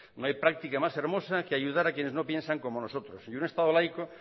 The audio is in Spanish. no hay práctica más hermosa que ayudar a quienes no piensan como nosotros y un estado laico